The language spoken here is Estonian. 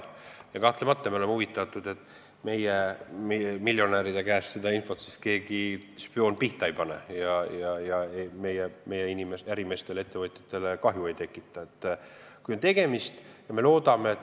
Me oleme kahtlemata huvitatud, et mõni spioon meie miljonäride käest seda infot pihta ei pane ja meie ärimeestele, ettevõtjatele kahju ei tekita.